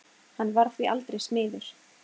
Hann varð því aldrei smiður.